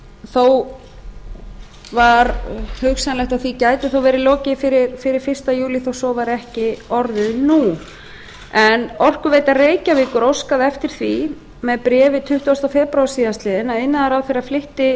þó var hugsanlegt að því gæti verið lokið fyrir fyrsta júlí þó svo væri ekki orðið nú en orkuveita reykjavíkur óskaði eftir því með bréfi tuttugasta febrúar síðastliðinn að iðnaðarráðherra flytti